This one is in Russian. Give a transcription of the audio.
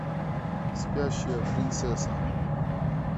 спящая принцесса